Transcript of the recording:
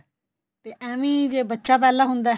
ਤੇ ਏਵੈ ਈ ਜੇ ਬੱਚਾ ਪਹਿਲਾਂ ਹੁੰਦਾ